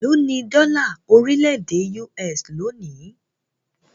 Élo ní dọ́là orílẹ̀-èdè US lónìí?